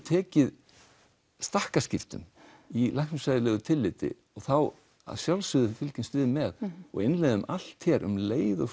tekið stakkaskiptum í læknisfræðilegu tilliti og þá að sjálfsögðu fylgjumst við með og innleiðum allt hér um leið og